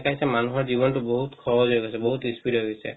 মানুহৰ জীৱন টো বহুত সহজ হয় গৈছে বহুত useful হয় গৈছে